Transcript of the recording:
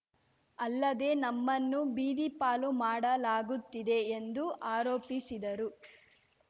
ಅಲ್ಲದೇ ನಮ್ಮನ್ನು ಬೀದಿಪಾಲು ಮಾಡಲಾಗುತ್ತಿದೆ ಎಂದು ಆರೋಪಿಸಿದರು